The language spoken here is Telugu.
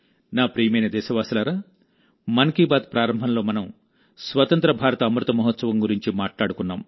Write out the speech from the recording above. నా ప్రియమైన దేశవాసులారా మన్ కీ బాత్ ప్రారంభంలో మనం స్వతంత్ర భారత అమృత మహోత్సవం గురించి మాట్లాడుకున్నాం